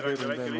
Hea ettekandja!